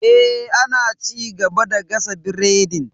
Eh, ana ci gaba da gasa biredin.